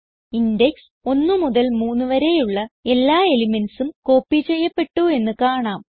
index 1 മുതൽ 3 വരെയുള്ള എല്ലാ elementsഉം കോപ്പി ചെയ്യപ്പെട്ടു എന്ന് കാണാം